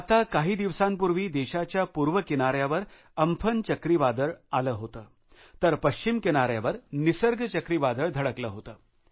आता काही दिवसांपूर्वी देशाच्या पूर्व किनाऱ्यावर अम्फान चक्रीवादळ आले होते तर पश्चिम किनाऱ्यावर निसर्ग चक्रीवादळ धडकले होते